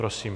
Prosím.